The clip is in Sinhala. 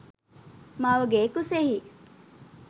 මවගේ කුසෙහි